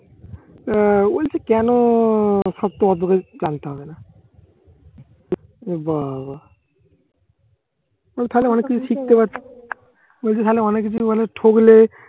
আহ ওই যে কেন সব তোমার জানতে হবে না ও বাবা তুমি থাকলে অনেক কিছু কিছু শিখতে পারত অনেক কিছু মানে ঠকলে